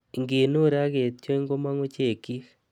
Inkinur ak kitiony komong'u chekyik.